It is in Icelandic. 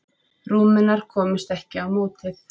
Rúmenar komust ekki á mótið.